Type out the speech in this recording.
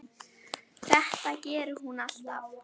Þetta gerir hún alltaf.